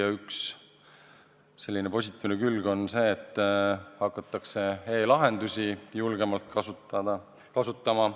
Ja üks positiivne külg on see, et hakatakse e-lahendusi julgemalt kasutama.